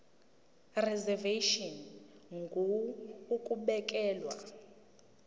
reservation ngur ukubekelwa